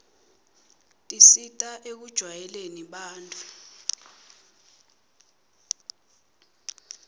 tisita ekujwayeleni bantfu